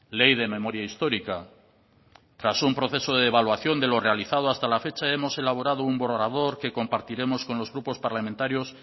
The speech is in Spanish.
ley de memoria histórica tras un proceso de evaluación de lo realizado hasta la fecha hemos elaborado un borrador que compartiremos con los grupos parlamentarios